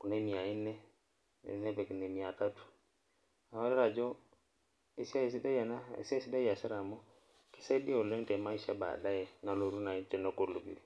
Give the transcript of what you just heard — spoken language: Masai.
kuna emiya inne, nepik nemiya tatu ,neeku keitodolu aji esiai sidai ena esiai sidai eesitae amu ekisaidia tebaadae nalotu naaji tenegolu.